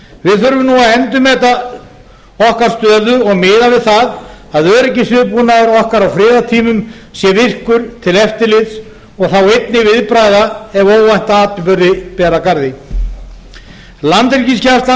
við þurfum nú að endurmeta okkar stöðu og miða við það að öryggisviðbúnaður okkar á friðartímum sé virkur til eftirlits og þá einnig viðbragða ef óvænta atburði ber að garði landhelgisgæslan og